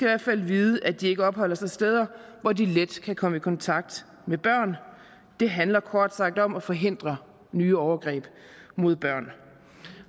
hvert fald vide at de ikke opholder sig steder hvor de let kan komme i kontakt med børn det handler kort sagt om at forhindre nye overgreb mod børn